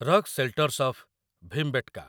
rock shelters of Bhimbetka